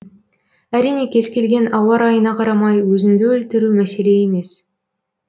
әрине кез келген ауа райына қарамай өзіңді өлтіру мәселе емес